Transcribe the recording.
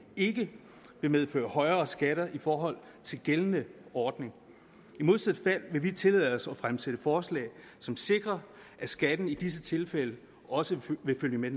ikke vil medføre højere skatter i forhold til den gældende ordning i modsat fald vil vi tillade os at fremsætte forslag som sikrer at skatten i disse tilfælde også vil følge med